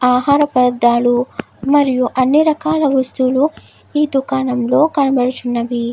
ఆహార పదార్థాలు మరియు అన్ని రకాల వస్తువులు ఈ దుకాణంలో కనబడుచున్నవి.